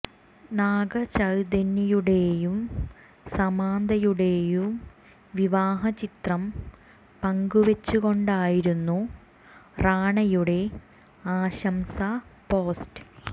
നാഗ ചൈതന്യയുടേയു സാമന്തയുടേയു വിവാഹ ചിത്രം പങ്കുവെച്ചു കൊണ്ടായിരുന്നു റാണയുടെ ആശംസ പോസ്റ്റ്